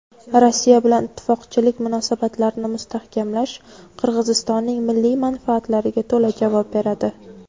Rossiya bilan ittifoqchilik munosabatlarini mustahkamlash Qirg‘izistonning milliy manfaatlariga to‘la javob beradi.